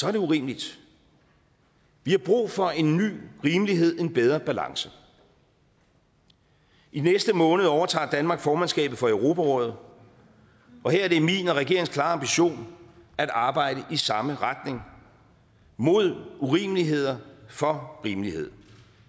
er det urimeligt vi har brug for en ny rimelighed og en bedre balance i næste måned overtager danmark formandskabet for europarådet og her er det min og regeringens klare ambition at arbejde i samme retning mod urimeligheder for rimelighed